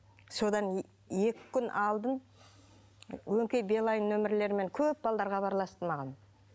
содан екі күн алдын өңкей билайн номерлермен көп балалар хабарласты маған